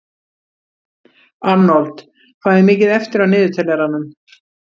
Arnold, hvað er mikið eftir af niðurteljaranum?